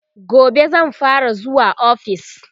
gobe zan fara zuwa ofis